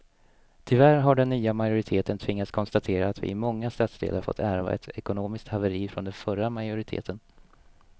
Tyvärr har den nya majoriteten tvingats konstatera att vi i många stadsdelar fått ärva ett ekonomiskt haveri från den förra majoriteten.